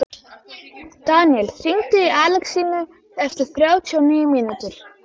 Daníel, hringdu í Alexínu eftir þrjátíu og níu mínútur.